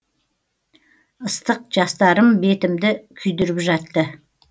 ыстық жастарым бетімді күйдіріп жатты